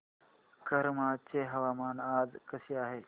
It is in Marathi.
करमाळ्याचे हवामान आज कसे आहे